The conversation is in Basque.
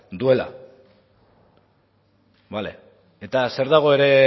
duela bale eta zer dago ere